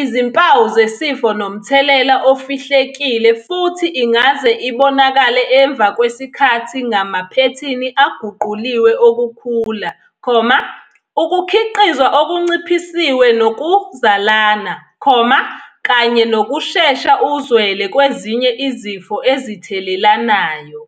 izimpawu zesifo nomthelela ofihlekile futhi ingaze ibonakale emva kwesikhathi ngamaphethini aguquliwe okukhula, ukukhiqizwa okunciphisiwe nokuzalana, kanye nokushesha uzwele kwezinye izifo ezithelelanayo.